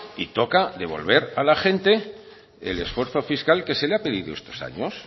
y toca devolver a la gente el esfuerzo fiscal que se le ha pedido estos años